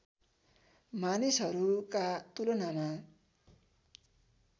मानिसहरूका तुलनामा